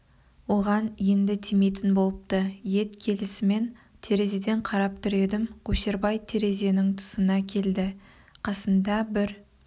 оған енді тимейтін болыпты ет келісімен терезеден қарап тұр едім көшербай терезенің тұсына келді қасында бір